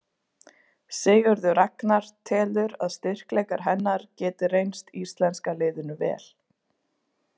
Sigurður Ragnar telur að styrkleikar hennar geti reynst íslenska liðinu vel.